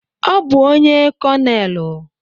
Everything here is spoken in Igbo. Ọ bụ onye Konelu.